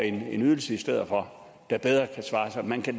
en ydelse i stedet for der bedre kan svare sig man kan